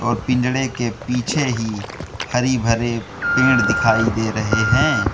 पिंजड़े के पीछे ही हरी भरे पेड़ दिखाई दे रहे हैं।